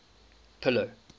pillow